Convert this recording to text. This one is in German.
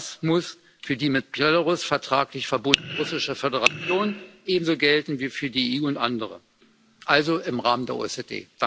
Das muss für die mit Belarus vertraglich verbundene Russische Föderation ebenso gelten wie für die EU und andere, also im Rahmen der OSZE.